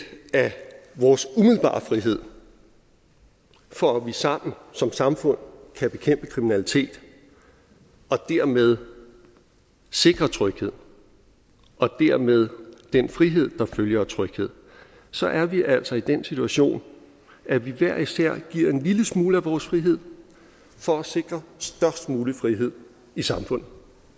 af vores umiddelbare frihed for at vi sammen som samfund kan bekæmpe kriminalitet og dermed sikre tryghed og dermed den frihed der følger af tryghed så er vi altså i den situation at vi hver især giver en lille smule af vores frihed for at sikre størst mulig frihed i samfundet